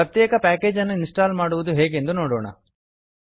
ಪ್ರತ್ಯೇಕ ಪ್ಯಾಕೇಜ್ ಅನ್ನು ಇನ್ಸ್ಟಾಲ್ ಮಾಡುವುದು ಹೇಗೆಂದು ನೋಡೋಣ